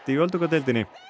í öldungadeildinni